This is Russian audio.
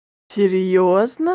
серьёзно